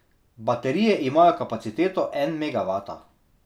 Baterije imajo kapaciteto en megavata.